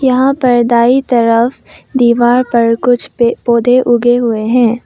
यहां पर दाई तरफ दीवार पर कुछ पे पौधे उगे हुवे हैं।